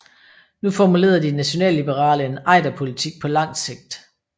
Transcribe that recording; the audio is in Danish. Nu formulerede de nationalliberale en Ejderpolitik på langt sigt